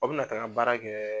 Aw bɛ na taga baara kɛ